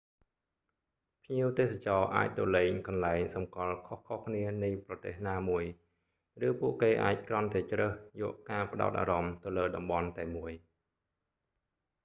ភ្ញៀវទេសចរណ៍អាចទៅលេងកន្លែងសំគាល់ខុសៗគ្នានៃប្រទេសណាមួយ ឬពួកគេអាចគ្រាន់តែជ្រើសយកការផ្ដោតអារម្មណ៍ទៅលើតំបន់តែមួយ